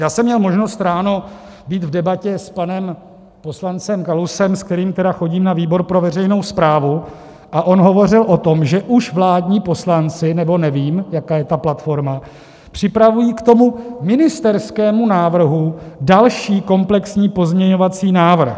Já jsem měl možnost ráno být v debatě s panem poslancem Kalousem, s kterým tedy chodím na výbor pro veřejnou správu, a on hovořil o tom, že už vládní poslanci - nebo nevím, jaká je ta platforma - připravují k tomu ministerskému návrhu další komplexní pozměňovací návrh.